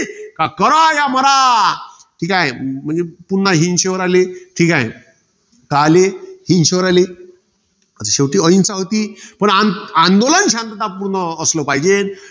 करा या मारा. ठीके. म्हणजे पुन्हा हिंशेवर आले. ठीके? साले, हिंशेवर आले. पण शेवटी अहिंसा होती. पण आंदोलन शांततापूर्व असलं पाहिजे.